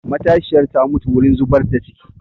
Matashiyar ta mutu wurin zubar da ciki